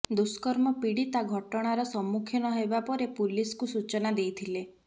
ଦୁଷ୍କର୍ମ ପୀଡ଼ିତା ଘଟଣାର ସମ୍ମୁଖୀନ ହେବା ପରେ ପୁଲିସକୁ ସୂଚନା ଦେଇଥିଲେ